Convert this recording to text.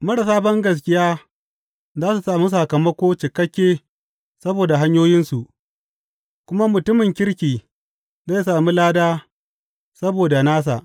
Marasa bangaskiya za su sami sakamako cikakke saboda hanyoyinsu, kuma mutumin kirki zai sami lada saboda nasa.